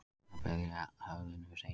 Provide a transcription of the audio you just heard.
Að berja höfðinu við steininn